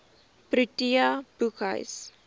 protea boekhuis